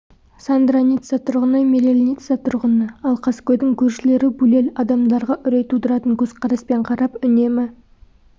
сандра ницца тұрғыны мирэль ницца тұрғыны ал қаскөйдің көршілері булель адамдарға үрей тудыратын көзқараспен қарап үнемі